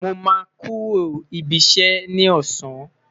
Mo ma kuro ibi iṣẹ ni ọsan